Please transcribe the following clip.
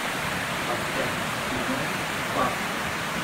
поставь кино папа